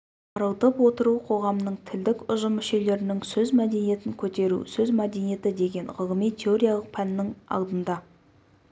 арылтып отыру қоғамның тілдік ұжым мүшелерінің сөз мәдениетін көтеру сөз мәдениеті деген ғылыми-теориялық пәннің алдында